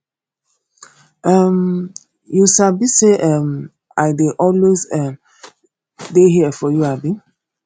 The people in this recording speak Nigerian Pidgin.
um you sabi sey um i dey always um dey here for you abi